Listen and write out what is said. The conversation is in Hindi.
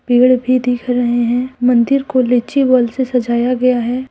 पेड़ भी दिख रहे हैं मंदिर को लीची बोल से सजाया गया है।